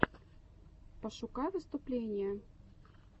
пошукай выступления